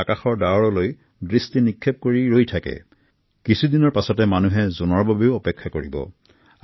ইয়াৰ সমান্তৰালকৈ কিছুদিন পাছত আকাশত জোনবাইৰ বাবেও বহুতে অপেক্ষা কৰিব